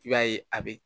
I b'a ye a be